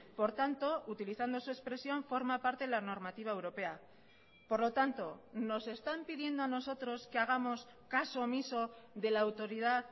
por tanto utilizando su expresión forma parte de la normativa europea por lo tanto nos están pidiendo a nosotros que hagamos caso omiso de la autoridad